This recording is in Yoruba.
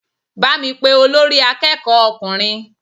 Bá mi pé olórí akẹ́kọ̀ọ́ ọkùnrin!